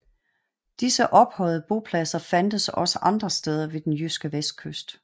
Disse ophøjede bopladser fandtes også også andre steder ved den jyske vestkyst